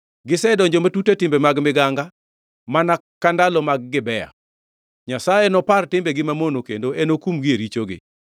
Gisedonjo matut e timbe mag miganga mana ka ndalo mag Gibea. Nyasaye nopar timbegi mamono kendo enokumgi e richogi.